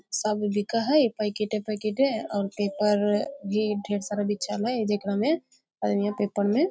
सब बिकए हेय पैकिटे पैकिटे और पेपर भी और ढेर सारा बिछल हेय जेकरा में आदमियां पेपर में --